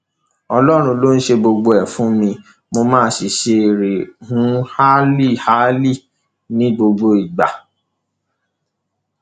ọlọrun ló ṣe gbogbo ẹ fún mi mo máa ń ṣe rehunlalíláhálí ní gbogbo ìgbà